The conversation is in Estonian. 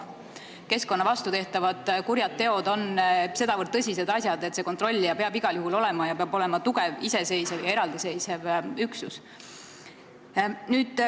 Keskkonna vastu tehtavad kurjad teod on sedavõrd tõsised asjad, et kontrollija peab igal juhul olemas olema ning ta peab olema tugev, iseseisev ja eraldiseisev üksus.